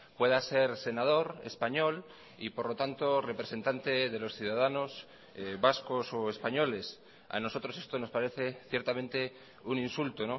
pueda ser senador español y por lo tanto representante de los ciudadanos vascos o españoles a nosotros esto nos parece ciertamente un insulto